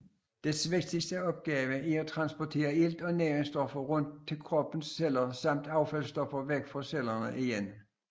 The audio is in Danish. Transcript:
Dets vigtigste opgave er at transportere ilt og næringsstoffer rundt til kroppens celler samt affaldsstoffer væk fra cellerne igen